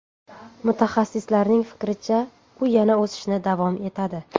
Mutaxassislarning fikricha, u yana o‘sishni davom etadi.